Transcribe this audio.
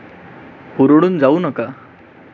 हुरळून जाऊ नका.